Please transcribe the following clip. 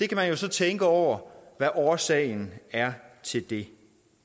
kan jo så tænke over hvad årsagen er til det